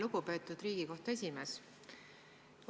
Lugupeetud Riigikohtu esimees!